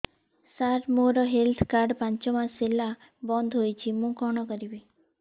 ସାର ମୋର health card ପାଞ୍ଚ ମାସ ହେଲା ବଂଦ ହୋଇଛି ମୁଁ କଣ କରିବି